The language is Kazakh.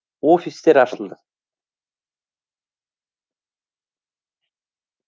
офистер ашылады